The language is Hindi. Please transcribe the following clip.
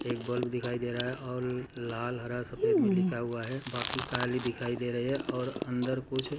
एक बल्ब दिखाई दे रहा और लाल हरासफेद मे लिखा हुआ है बाकी काली दिखाई दे रही है और अंदर कुछ --